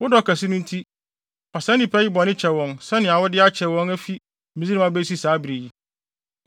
Wo dɔ kɛse no nti, fa saa nnipa yi bɔne kyɛ wɔn sɛnea wode akyɛ wɔn afi Misraim abesi saa bere yi.”